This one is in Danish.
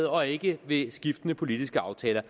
og ikke ved skiftende politiske aftaler